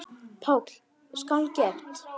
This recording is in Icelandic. PÁLL: Skal gert!